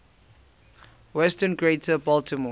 western greater baltimore